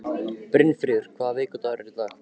Brynfríður, hvaða vikudagur er í dag?